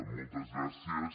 moltes gràcies